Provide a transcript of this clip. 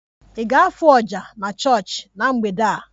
Ị ga-afụ oja na chọọchị na mgbede a?